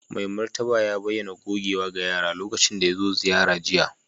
Mai martaba ya bayyana gogewa ga yara lokacin da ya zo ziyara jiya